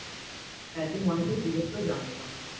হ্যাঁ একটু মনে করে জিগেস করে জানাস আমাকে